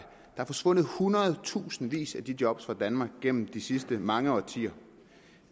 er forsvundet hundredtusindvis af de job fra danmark gennem de sidste mange årtier